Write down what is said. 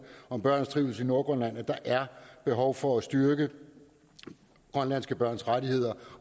om børns trivsel i nordgrønland at der er behov for at styrke grønlandske børns rettigheder